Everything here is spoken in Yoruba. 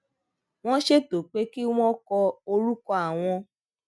wón ṣètò pé kí wón kọ orúkọ àwọn